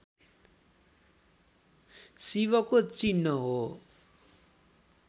शिवको चिह्न हो